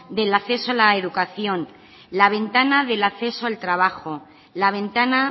del acceso a la educación la ventana del acceso al trabajo la ventana